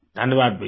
धन्यवाद भैया